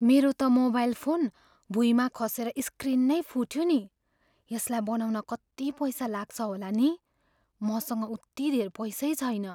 मेरो त mobile phone भुइँमा खसेर स्क्रिन नै फुट्यो नि। यसलाई बनाउन कति पैसा लाग्छ होला नि? मसँग उति धेर पैसै छैन।